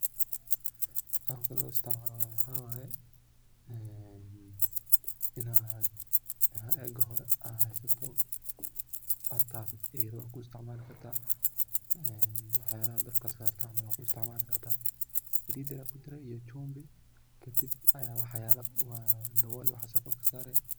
Qabka lo isticmaloh maxwaye ee inat iga hori coodka waxyalaha dabka lasartoh wanku istcmali kartah Salida iyo chimvi Aya kudari dawool Aya wxa kusari.